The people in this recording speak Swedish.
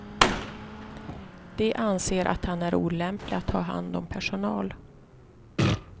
De anser att han är olämplig att ha hand om personal.